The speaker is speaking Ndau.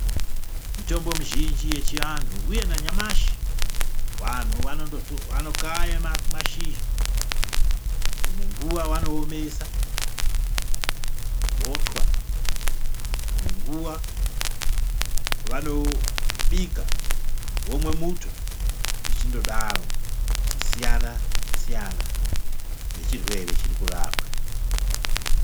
Mitombo mizhinji yechianthu uye nanyamashi, vanthu vanokaya mashizha, dzimwe nguwa vanoomesa votwa. Dzimwe nguwa vanobika vomwe muto zvichindodaro zvichisiyana siyana nechirwere chiri kurapwa.